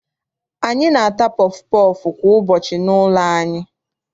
Anyị na-ata pọfụ pọọfụ kwa ụbọchị n'ụlọ anyị.